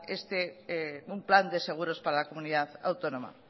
un plan de seguros para la comunidad autónoma